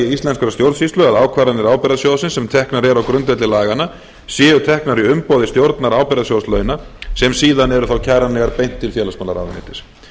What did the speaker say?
íslenskrar stjórnsýslu að ákvarðanir ábyrgðasjóðsins sem teknar eru á grundvelli laganna séu teknar í umboði stjórnar ábyrgðasjóð launa sem síðan eru þá kæranlegar beint til félagsmálaráðuneytis